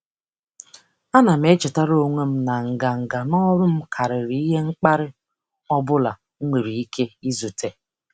Ana m echetara onwe m na nganga n'ọrụ m karịrị ihe mkparị ọ bụla m nwere ike izute.